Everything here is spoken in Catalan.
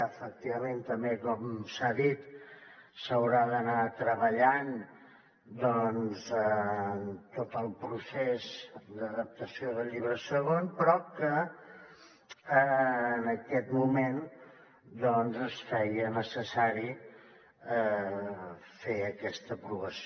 efectivament també com s’ha dit s’haurà d’anar treballant doncs en tot el procés d’adaptació de llibre segon però en aquest moment es feia necessari fer aquesta aprovació